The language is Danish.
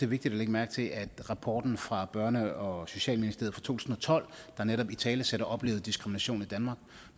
vigtigt at lægge mærke til at rapporten fra børne og socialministeriet fra tusind og tolv der netop italesætter oplevet diskrimination i danmark